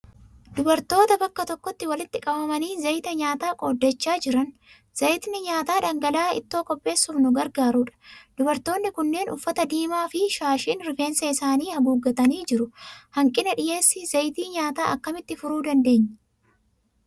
Dubartoota bakka tokkotti walitti qabamanii zayita nyaataa qooddachaa jiran. Zayitni nyaataa dhangala'aa ittoo qopheessuuf nu gargaarudha. Dubartoonni kunneen uffata diimaa fi shaashiin rifeensa isaanii haguuggatanii jiru. Hanqina dhiyeessii zayita nyaataa akkamitti furuu dandeenya?